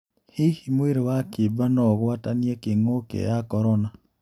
Hihi mwirĩ wa kĩimba no-ũgwatanie kĩng'ũki ya Korona?